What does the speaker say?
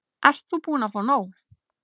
Ert þú búin að fá nóg?